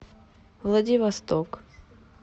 владивосток